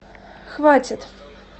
хватит